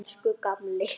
Elsku gamli.